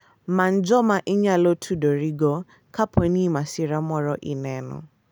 Many joma inyalo tudorigo kapo ni masira moro oneno.